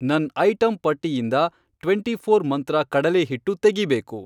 ನನ್ ಐಟಂ ಪಟ್ಟಿಯಿಂದ ಟ್ವೆಂಟಿಫ಼ೋರ್ ಮಂತ್ರ ಕಡಲೇಹಿಟ್ಟು ತೆಗೀಬೇಕು.